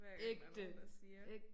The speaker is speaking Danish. Hver gang der nogen der siger